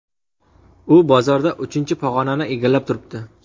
U bozorda uchinchi pog‘onani egallab turibdi.